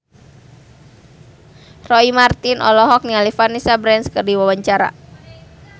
Roy Marten olohok ningali Vanessa Branch keur diwawancara